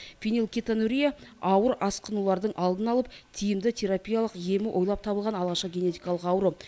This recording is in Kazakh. фенилкетонурия ауыр асқынулардың алдын алып тиімді терапиялық емі ойлап табылған алғашқы генетикалық ауру